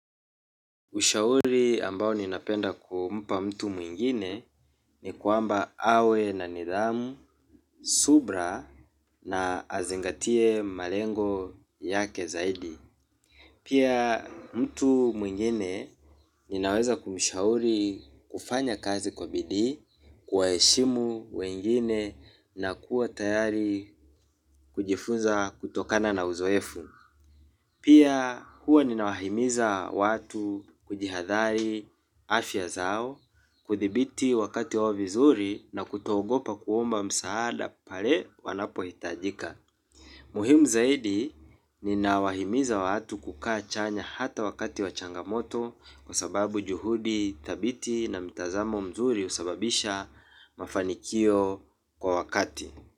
Ushauri ambao ninapenda kumpa mtu mwingine ni kwamba awe na nidhamu subra na azingatie malengo yake zaidi. Pia mtu mwingine ninaweza kumshauri kufanya kazi kwa bidii kuwa eshimu wengine na kuwa tayari kujifunza kutokana na uzoefu. Pia huwa ninawahimiza watu kujihadhali afya zao kuthibiti wakati wao vizuri na kutoogopa kuomba msaada pale wanapo hitajika. Muhimu zaidi ninawahimiza watu kukaa chanya hata wakati wa changamoto kwa sababu juhudi thabiti na mitazamo mzuri usababisha mafanikio kwa wakati.